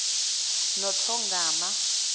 nothongama